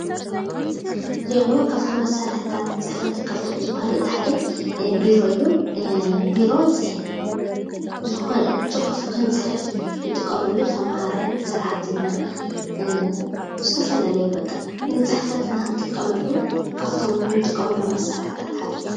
ካብቶም መሳሪሒታት ፅሕፈት ካብቶም ዝበሃሉ እቲ ሓደ ቢሮ እዩ፡፡ ቢሮ ፅሑፍ ክንፅሕፍ ንተማሃራይ፣ ንሰራሕተኛ ዝፈፈላለዩ ንፅሕፈትን ክንጥቀመሉ ካብቶም እንጥቀመሎም መሳሪሒታት እቲ ሓደ እዩ፡፡